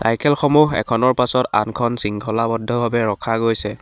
Cycle সমূহ এখনৰ পাছত আনখন শৃংখলাবদ্ধ ভাবে ৰখা গৈছে।